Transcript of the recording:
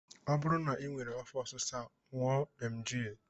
Ọ bụrụ na I nwere afọ ọsịsa ṅụọ emgyl